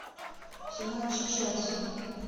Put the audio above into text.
все матчи челси